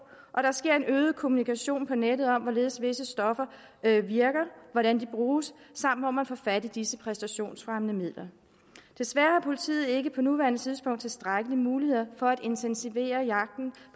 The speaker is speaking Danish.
og der sker en øget kommunikation på nettet om hvorledes visse stoffer virker hvordan de bruges samt hvor man får fat i disse præstationsfremmende midler desværre har politiet ikke på nuværende tidspunkt tilstrækkelige muligheder for at intensivere jagten